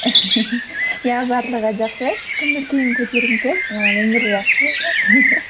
иә барлығы жақсы көңіл күйім көтеріңкі ііі өмір жақсы